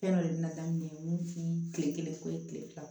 Fɛn dɔ de la daminɛ ye mun f'i ye kile kelen ko ye kile fila